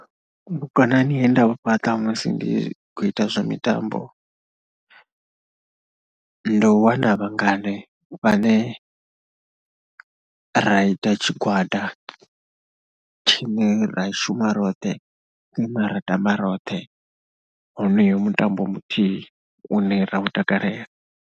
Vhukonani he nda u fhaṱa musi ndi khou ita zwa mitambo ndi u wana vhangane vhane ra ita tshigwada tshine ra shuma roṱhe. Hune ra tama roṱhe honoyo mutambo muthihi une ra u takalela.